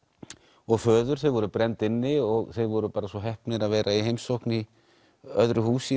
og föður þau voru brennd inni og þeir voru bara svo heppnir að vera í heimsókn í öðru húsi í